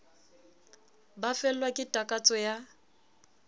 ba fellwa ke takatso ya